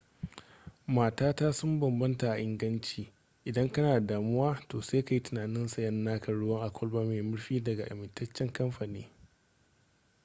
matata sun bambanta a inganci idan kana da damuwa to sai ka yi tunanin sayan naka ruwa a kwalba mai murfi daga amintaccen kamfani